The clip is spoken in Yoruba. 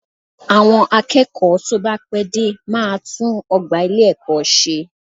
Àwọn akẹ́kọ̀ọ́ tó bá pẹ́ dé máa tún ọgbà ilé-ẹ̀kọ́ ṣe